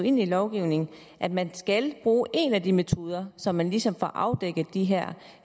ind i lovgivningen at man skal bruge en af de metoder så man ligesom får afdækket de her